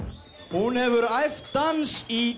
hún hefur æft dans í